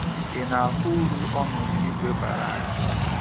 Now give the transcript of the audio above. Ị na ahụ uru ọnọdụ ìgwè bara anyị?